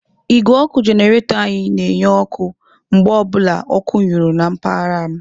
Igwé ọkụ jenaretór anyị na-enye anyị ọkụ mgbe ọ bụla ọkụ nyuru na mpaghara m.